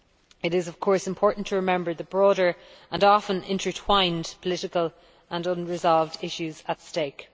It is of course important to remember the broader, and often intertwined, political and unresolved issues at stake.